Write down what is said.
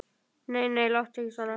Nei, nei, láttu ekki svona.